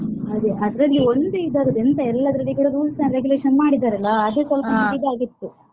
ಅದೇ ಅದ್ರಲ್ಲಿ ಒಂದು ಇದರದ್ ಎಂತ ಎಲ್ಲದ್ರಲ್ಲಿ ಕೂಡ rules and regulation ಮಾಡಿದ್ದಾರೆ ಅಲಾ ಅದೇ ಸ್ವಲ್ಪ ನಂಗೆ ಇದಾಗಿತ್ತು.